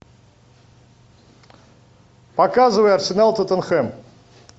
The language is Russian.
показывай арсенал тоттенхэм